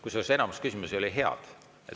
Kusjuures enamik küsimusi olid head.